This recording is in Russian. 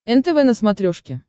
нтв на смотрешке